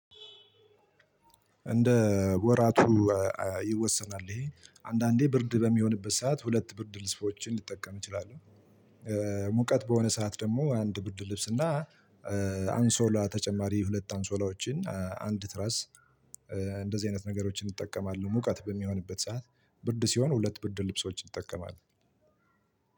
እንደ ወራቱ ይወሰናል ይሄ አንዳንዴ ብርድ በሚሆንበት ሰዓት ሁለት ብርድ ልብሶችን ልጠቀም ይችላል። ሙቀት በሆነ ሰዓት ደግሞ አንድ ብርድ ልብስ እና አንሶላ ተጨማሪ ሁለት አንሶላዎችን አንድ ትራስ እንደዚህ አይነት ነገሮችን እንጠቀማለሁ። ሙቀት በሚሆንበት ሰዓት ብርድ ሲሆን ሁለት ብርድ ልብሶች እጠቀማለሁ።